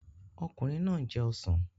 Ọkùnrin náà ń jẹ ọsàn